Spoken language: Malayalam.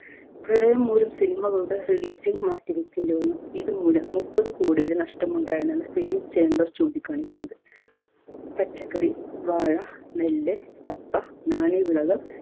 പ്രളയം മൂലം cinema കളുടെ releasing മാറ്റിവെക്കേണ്ടി വന്നു. ഇത് മൂലം മുപ്പത് കോടിയുടെ നഷ്ടം ഉണ്ടായെന്നാണ് film chamber ചൂണ്ടിക്കാണിക്കുന്നത്. പച്ചക്കറി വാഴ നെല്ല് കപ്പ നാണ്യവിളകൾ